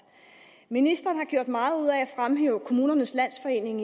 ministeren har gjort meget ud af at fremhæve kommunernes landsforening